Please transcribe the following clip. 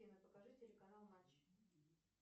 афина покажи телеканал матч